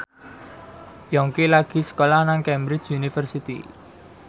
Yongki lagi sekolah nang Cambridge University